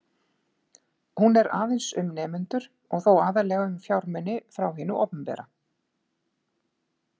Hún er aðeins um nemendur og þó aðallega um fjármuni frá hinu opinbera.